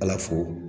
Ala fo